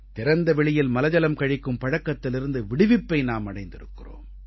திறந்த வெளியில் மலஜலம் கழிக்கும் பழக்கத்திலிருந்து விடுவிப்பை நாம் அடைந்திருக்கிறோம்